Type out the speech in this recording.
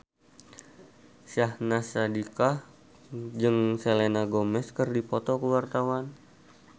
Syahnaz Sadiqah jeung Selena Gomez keur dipoto ku wartawan